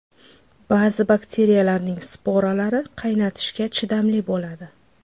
Ba’zi bakteriyalarning sporalari qaynatishga chidamli bo‘ladi.